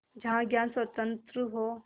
जहाँ ज्ञान स्वतन्त्र हो